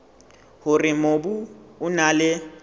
hore mobu o na le